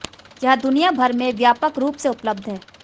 यह दुनिया भर में व्यापक रूप से उपलब्ध है